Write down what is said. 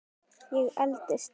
Ég eldist.